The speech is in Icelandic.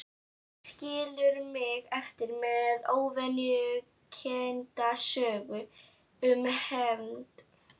Skilur mig eftir með ógnvekjandi sögur um hefnd.